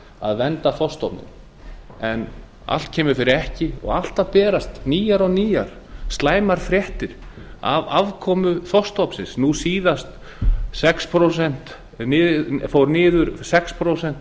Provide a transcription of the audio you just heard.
að vernda þorskstofninn en allt kemur fyrir ekki og alltaf berast nýjar og nýjar slæmar fréttir af afkomu þorskstofnsins nú síðast fór haustrall hafrannsóknastofnunar sex prósent